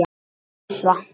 Æsa